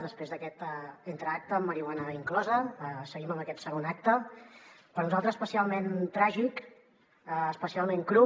després d’aquest entreacte amb marihuana inclosa seguim amb aquest segon acte per nosaltres especialment tràgic especialment cru